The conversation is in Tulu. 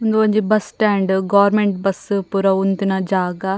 ಉಂದು ಒಂಜಿ ಬಸ್ಸ್ ಸ್ಟ್ಯಾಂಡ್ ಗೋರ್ಮೆಂಟ್ ಬಸ್ಸ್ ಪೂರ ಉಂತುನ ಜಾಗ.